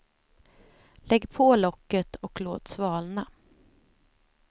Lägg på locket och låt svalna.